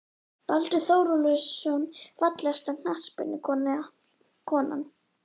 Baldur Þórólfsson Fallegasta knattspyrnukonan?